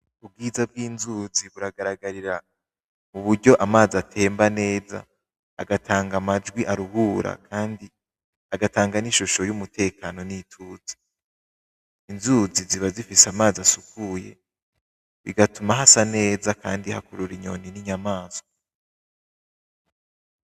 Ubwiza bw'inzuzi buragaragarira mu buryo amazi atemba neza, agatanga amajwi aruhura kandi agatanga n'ishusho y'umutekano n'ituze, inzuzi ziba zifise amazi asukuye, bigatuma hasa neza kandi hakurura inyoni n'inyamaswa.